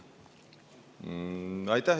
Aitäh!